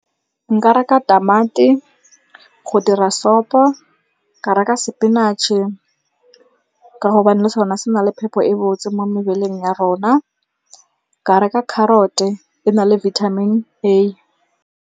Nka reka tamati go dira sopo, ka reka sepinatšhe ka gobane le sone se na le phepho e botse mo mebeleng ya rona. Ka reka carrot-e e na le vitamin A.